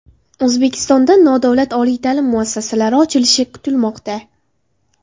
O‘zbekistonda nodavlat oliy ta’lim muassasalari ochilishi kutilmoqda.